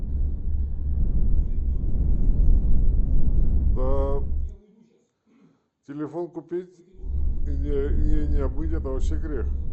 да телефон купить и не обмыть это вообще грех